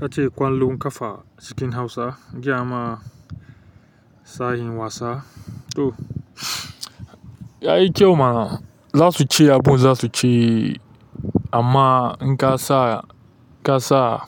Kace ƙwallon 'kafa cikin hausa giyama, sashin wasa toh yayi kyau mana. Za su ci abin da za su ci amma in ka sa, in ka sa